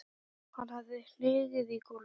Hann hafði hnigið í gólfið.